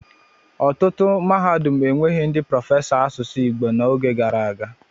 Ọtụtụ mahadum enweghị ndị prọfesọ asụsụ Igbo n'oge gara aga.